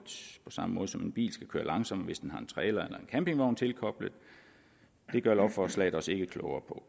på samme måde som en bil skal køre langsommere hvis det har en trailer eller en campingvogn tilkoblet det gør lovforslaget os ikke klogere